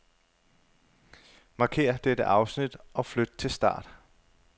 Markér dette afsnit og flyt til start.